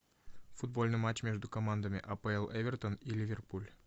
футбольный матч между командами апл эвертон и ливерпуль